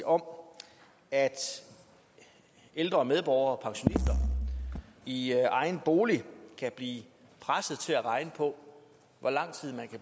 om at ældre medborgere og pensionister i egen bolig kan blive presset til at regne på hvor lang tid